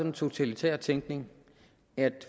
en totalitær tænkning at